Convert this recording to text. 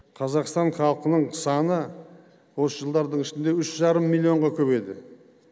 қазақстан халқының саны осы жылдардың ішінде үш жарым миллионға көбейді